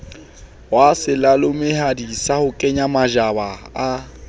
wa selalomehadi sa sekwenyamatjhaba ha